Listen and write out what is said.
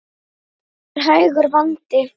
Það er hægur vandi.